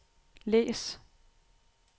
læs